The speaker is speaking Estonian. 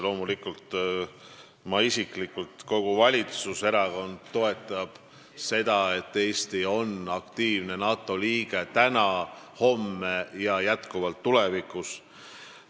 Loomulikult, ma isiklikult ja kogu valitsuserakond toetab seda, et Eesti on aktiivne NATO liige täna, homme ja ka tulevikus.